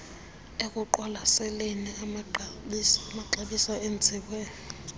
ekuqwalaseleni amaxabiso awenziwe